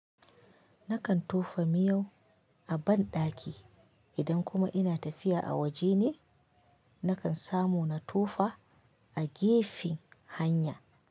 Nakan tofa miyau a banɗaki idan kuma ina tafiya a waje ne, nakan samu na tofa a gefe hanya.